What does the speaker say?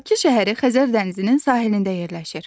Bakı şəhəri Xəzər dənizinin sahilində yerləşir.